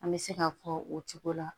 An bɛ se k'a fɔ o cogo la